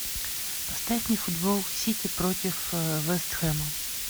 поставь мне футбол сити против вест хэма